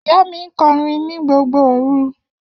Iya mi nkorin ni gbogbo oru